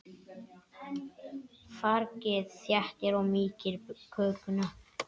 Fargið þéttir og mýkir kökuna.